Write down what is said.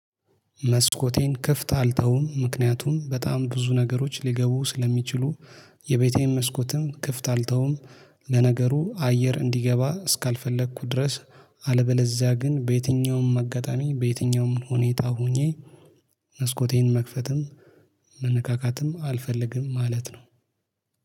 መስኮቴን ክፍት አልተውም ምክንያቱም በጣም ብዙ ነገሮች ሊገቡ ስለሚችሉ። የቤቴን መስኮትም ክፍት አልተውም። ለነገሩ አየር እንዲገባ እስካልፈለኩ ድረስ። አለበለዚያ ግን በየትኛውም አጋጣሚ በየትኛውም ሁኔታ ሆኜ። መስኮቴን መክፈትም መነካካትም አልፈልግም ማለት ነው